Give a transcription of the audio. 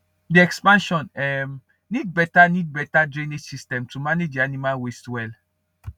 the expansion um need better need better drainage system to manage the animal waste well